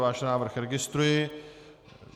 Váš návrh registruji.